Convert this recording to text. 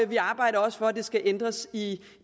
vi arbejder også for at det skal ændres i